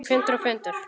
Fundur og fundur.